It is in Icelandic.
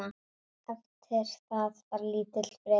Eftir það var lítill friður.